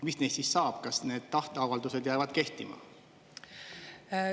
Mis neist siis saab, kas need tahte avaldused jäävad kehtima?